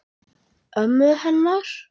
Ömmu hennar?